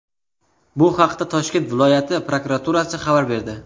Bu haqda Toshkent viloyati prokuraturasi xabar berdi .